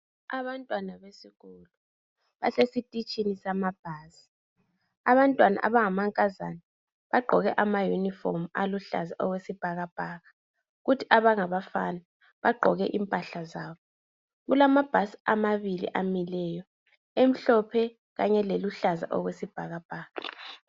Abantwana besikolo basesititshini samabhasi. Abantwana abangamankazana, bagqoke amayunifomu aluhlaza okwesibhakabhaka, kuthi abangabafana bagqoke impahla zabo. Kulamabhasi amabili amileyo, emhlophe, kanye leluhlaza okwesibhakabhaka.